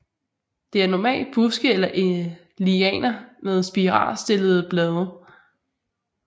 Det er normalt buske eller lianer med spiralstillede blade